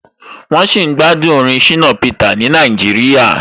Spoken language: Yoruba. Wọ́n sì ń gbádùn orin Shina Peter ni Nàìjíríà.